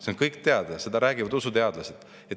See on kõik teada, seda räägivad usuteadlased.